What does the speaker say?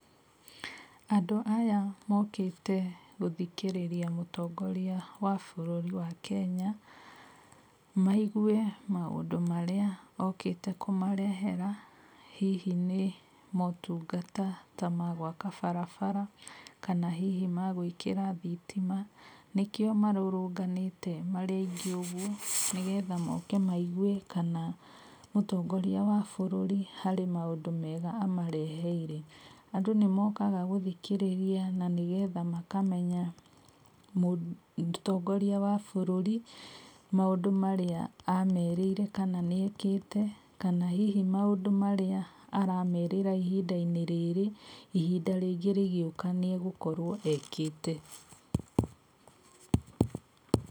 Andũ aya mokĩte gũthikĩrĩria mũtongoria wa bũrũri wa Kenya, maigue maũndũ marĩa okĩte kũmarehera, hihi nĩ motungata ta ma gwaka barabara, kana hihi ma gwĩkĩra thitima, nĩkĩo marũrũnganĩte marĩ aingĩ ũguo nĩgetha moke maigue kana mũtongoria wa bũrũri harĩ maũndũ mega amareheire. Andũ nĩmokaga gũthikĩrĩria na nĩgetha makamenya mũtongoria wa bũrũri maũndũ marĩa amerĩire kana nĩekĩte, kana hihi maũndũ marĩa aramerĩra ihinda-inĩ rĩrĩ, ihinda rĩngĩ rĩgĩũka nĩegũkorwo ekĩte.